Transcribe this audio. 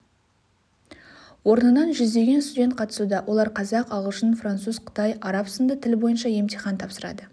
орнынан жүздеген студент қатысуда олар қазақ ағылшын француз қытай араб сынды тіл бойынша емтихан тапсырады